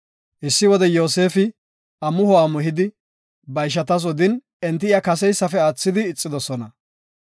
Issi wode Yoosefi amuho amuhidi, ba ishatas odin enti iya kaseysafe aathidi ixidosona.